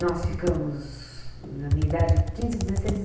Nós ficamos, na minha idade, quinze, dezesseis e